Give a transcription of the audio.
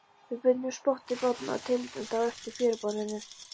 Við bundum spotta í bátana og teymdum þá eftir fjöruborðinu.